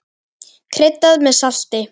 Kryddað með salti.